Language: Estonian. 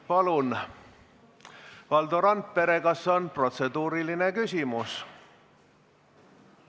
Palun, Valdo Randpere, kas on protseduuriline küsimus?